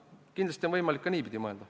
Kindlasti on võimalik ka niipidi mõelda.